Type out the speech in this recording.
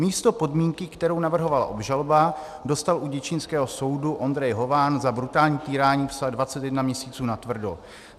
"Místo podmínky, kterou navrhovala obžaloba, dostal u děčínského soudu Ondrej Hován za brutální týrání psa 21 měsíců natvrdo.